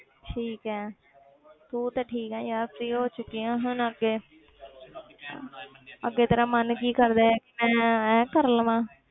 ਠੀਕ ਹੈ ਤੂੰ ਤੇ ਠੀਕ ਹੈ ਯਾਰ free ਹੋ ਚੁੱਕੀ ਹੈ ਹੁਣ ਅੱਗੇ ਅੱਗੇ ਤੇਰਾ ਮਨ ਕੀ ਕਰਦਾ ਹੈ ਕਿ ਮੈਂ ਇਹ ਕਰ ਲਵਾਂ।